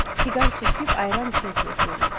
Siqar çəkib ayran içə-içə oxuyurlar.